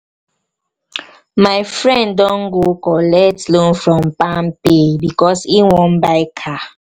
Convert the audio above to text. my friend don go go collect loan from palmpay because he wan buy car